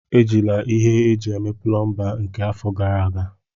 Ejila ihe eji eme plomba nke afọ gara aga!